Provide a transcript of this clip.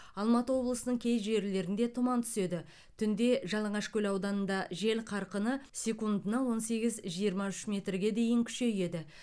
алматы облысының кей жерлерінде тұман түседі түнде жалаңашкөл ауданында жел қарқыны секундына он сегіз жиырма үш метрге дейін күшейеді